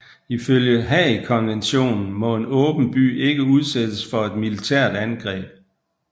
Ifølge Haagkonventionen må en åben by ikke udsættes for et militært angreb